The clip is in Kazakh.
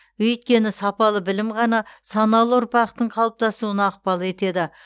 өйткені сапалы білім ғана саналы ұрпақтың қалыптасуына ықпал етеді